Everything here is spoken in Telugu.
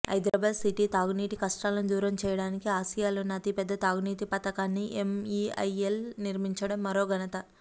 హైదరాబాద్ సిటీ తాగునీటి కష్టాలను దూరం చేయడానికి ఆసియాలోనే అతిపెద్ద తాగునీటి పథకాన్ని ఎంఇఐఎల్ నిర్మించడం మరో ఘనత